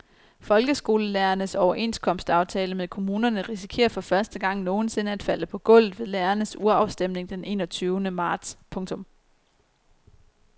Folkeskolelærernes overenskomstaftale med kommunerne risikerer for første gang nogen sinde at falde på gulvet ved lærernes urafstemning den enogtyvende marts. punktum